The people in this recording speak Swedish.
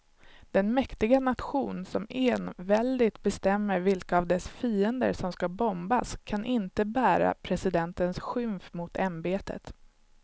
Den mäktiga nation som enväldigt bestämmer vilka av dess fiender som ska bombas kan inte bära presidentens skymf mot ämbetet.